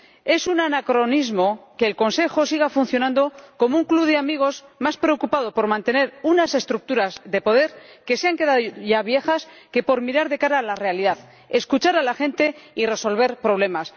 Es un anacronismo que el Consejo siga funcionando como un club de amigos, más preocupado por mantener unas estructuras de poder ya obsoletas que por mirar de cara a la realidad escuchar a la gente y resolver problemas.